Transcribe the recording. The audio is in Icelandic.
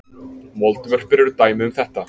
moldvörpur eru dæmi um þetta